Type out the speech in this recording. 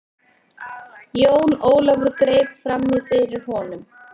Jón Ólafur greip framí fyrir honum.